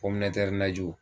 Pɔmnɛtɛr najiw